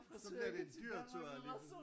Så bliver det en dyr tur alligevel